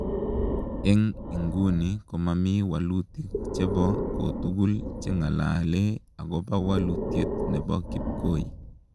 Eng inguni komamii walutik chepoo kotugul chengalalee akopaa walutiet nepo kipkoi